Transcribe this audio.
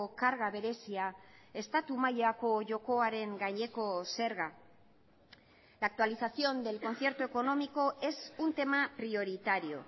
karga berezia estatu mailako jokoaren gaineko zerga la actualización del concierto económico es un tema prioritario